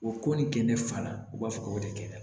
O ko nin kɛ ne fa la u b'a fɔ k'o de kɛ